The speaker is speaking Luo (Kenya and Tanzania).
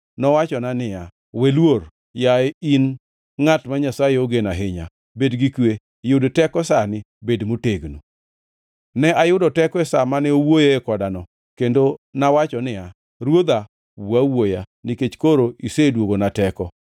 Nowachona niya, “We luor, yaye in ngʼat ma Nyasaye ogeno ahinya. Bed gi kwe! Yud teko sani, bed motegno.” Ne ayudo teko e sa mane owuoyoe kodano, kendo nawacho niya, “Ruodha, wuo awuoya, nikech koro iseduogona teko.”